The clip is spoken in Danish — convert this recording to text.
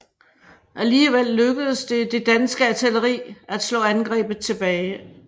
Alligevel lykkedes det det danske artilleri at slå angrebet tilbage